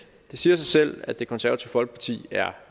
det siger sig selv at det konservative folkeparti er